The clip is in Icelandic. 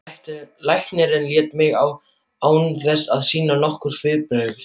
Læknirinn leit á mig án þess að sýna nokkur svipbrigði.